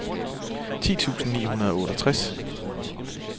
ti tusind ni hundrede og otteogtres